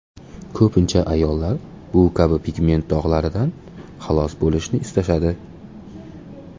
Ko‘pincha ayollar bu kabi pigment dog‘laridan xalos bo‘lishni istashadi.